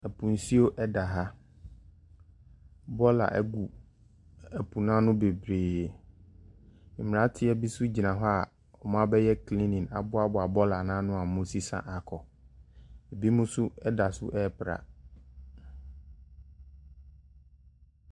Po nsuo da ha, bɔɔla gu po n’ano bebree, mberanteɛ bi nso gyina hɔ a wɔabɛbyɛ cleaning aboaboa bɔɔla no ano a wɔresesa akɔ, binom nso da so ɛrepra.